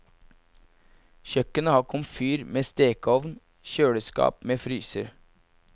Kjøkkenet har komfyr med stekeovn, kjøleskap med fryser.